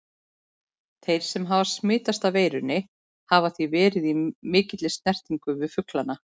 Þeir sem hafa smitast af veirunni hafa því verið í mikilli snertingu við fuglana.